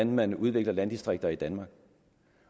man udvikler landdistrikter i danmark